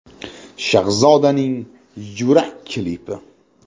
Shahzodaning “Yurak” klipi.